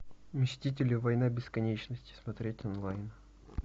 мстители война бесконечности смотреть онлайн